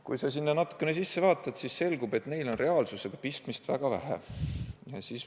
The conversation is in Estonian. Kui sa sinna natukene süvened, siis selgub, et neil on reaalsusega väga vähe pistmist.